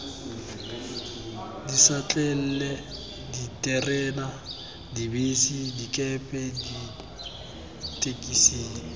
dišatlelle diterena dibese dikepe ditekisi